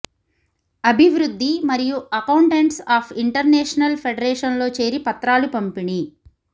అభివృద్ధి మరియు accountants of international federation లో చేరి పత్రాలు పంపిణీ